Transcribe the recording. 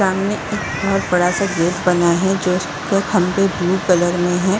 सामने एक बोहोत बड़ा सा गेट बना हैं जो खम्बे ब्लू कलर में हैं।